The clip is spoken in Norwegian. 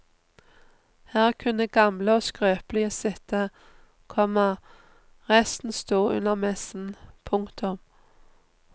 Her kunne gamle og skrøpelige sitte, komma resten stod under messen. punktum